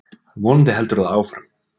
Vonandi heldur það áfram.